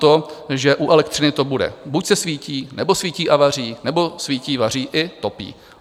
To, že u elektřiny to bude: buď se svítí, nebo svítí a vaří, nebo svítí, vaří i topí.